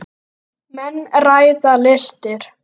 Menn ræða listir.